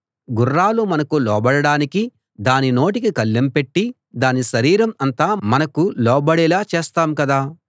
గుర్రాలు మనకు లోబడడానికి దాని నోటికి కళ్ళెం పెట్టి దాని శరీరం అంతా మనకు లోబడేలా చేస్తాం కదా